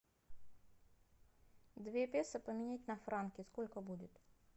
две песо поменять на франки сколько будет